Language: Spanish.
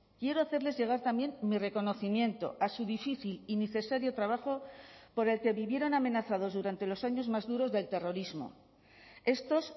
quiero hacerles llegar también mi reconocimiento a su difícil y necesario trabajo por el que vivieron amenazados durante los años más duros del terrorismo estos